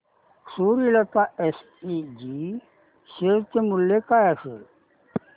Suryalata SPG share चे मूल्य काय असेल